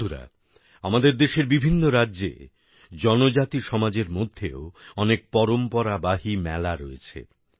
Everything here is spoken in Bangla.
বন্ধুরা আমাদের দেশের বিভিন্ন রাজ্যে জনজাতি সমাজের মধ্যেও অনেক ঐতিহ্যবাহী মেলা রয়েছে